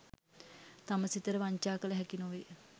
තම සිතට වංචා කළ හැකි නොවේ.